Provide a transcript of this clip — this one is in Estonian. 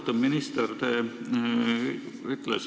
Austatud minister!